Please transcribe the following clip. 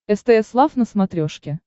стс лав на смотрешке